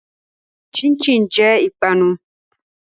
Chin chin jẹ ìpanu.